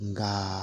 Nka